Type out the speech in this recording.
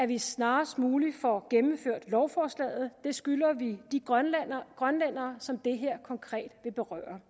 vi snarest muligt får gennemført lovforslaget det skylder vi de grønlændere grønlændere som det her konkret vil berøre